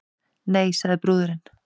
Nei, sagði brúðurin.